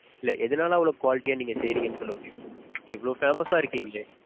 இல்ல எதனால அவ்ளோ quality யா நீங்க செய்றீங்கனு சொல்ல முடியுமா?